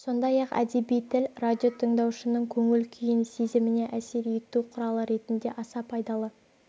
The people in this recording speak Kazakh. сондай-ақ әдеби тіл радио тыңдаушының көңіл-күйін сезіміне әсер ету құралы ретінде аса пайдалы